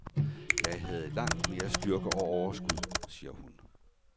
Jeg havde langt mere styrke og overskud, siger hun.